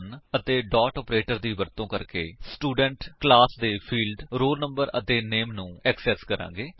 ਹੁਣ ਅਸੀ ਸਟਡ1 ਅਤੇ ਡੋਟ ਆਪਰੇਟਰ ਦੀ ਵਰਤੋ ਕਰਕੇ ਸਟੂਡੈਂਟ ਕਲਾਸ ਦੇ ਫਿਲਡਸ roll no ਅਤੇ ਨਾਮੇ ਨੂੰ ਐਕਸੇਸ ਕਰਾਂਗੇ